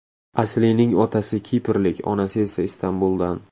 Aslining otasi kiprlik, onasi esa Istanbuldan.